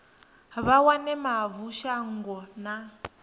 vha wane mavu shango na